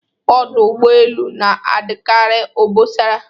Ọdụ ụgbọelu na-adịkari obosara